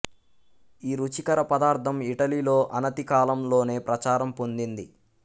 ఈ రుచికర పదార్థం ఇటలీలో అనతి కాలం లోనే ప్రచారం పొందింది